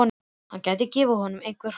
Hann gæti gefið honum einhver holl ráð.